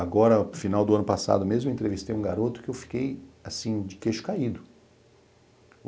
Agora, final do ano passado mesmo, eu entrevistei um garoto que eu fiquei, assim, de queixo caído.